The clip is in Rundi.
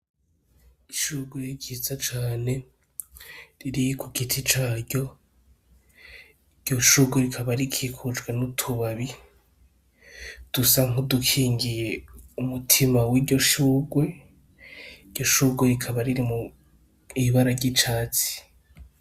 Ishurwe ryiza cane riri ku giti caryo. Iryo shurwe rikaba rikikujwe n'utubabi dusa nk'udukingiye umutima w'iryo shurwe. Iryo shurwe ikaba riri mw'ibara ry'icatsi.